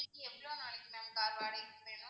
உங்களுக்கு எவ்வளோ நாளைக்கு ma'am car வாடகைக்கு வேணும்?